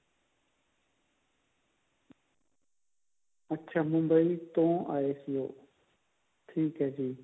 ਅੱਛਾ ਮੁੰਬਈ ਤੋਂ ਆਏ ਸੀ ਉਹ ਠੀਕ ਹੈ ਜੀ